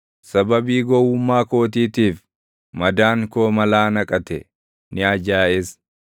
Sababii gowwummaa kootiitiif, madaan koo malaa naqate; ni ajaaʼes.